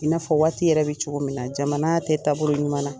I n'a fɔ waati yɛrɛ bɛ cogo min na, jamana tɛ taabolo ɲumanna.